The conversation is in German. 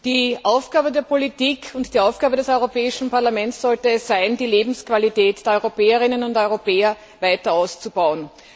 Die Aufgabe der Politik und die Aufgabe des Europäischen Parlaments sollte es sein, die Lebensqualität der Europäerinnen und Europäer weiter auszubauen.